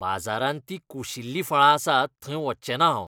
बाजारांत तीं कुशिल्लीं फळां आसात थंय वचचें ना हांव.